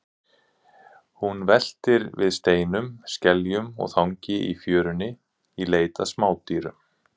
Hún veltir við steinum, skeljum og þangi í fjörunni í leit að smádýrum.